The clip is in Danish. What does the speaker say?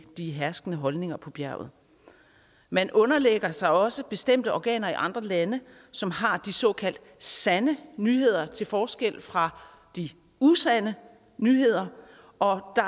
de herskende holdninger på bjerget man underlægger sig også bestemte organer i andre lande som har de såkaldt sande nyheder til forskel fra de usande nyheder og der